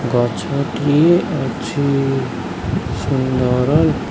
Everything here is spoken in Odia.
ଗଛଟି ଅଛି ସୁନ୍ଦର୍ --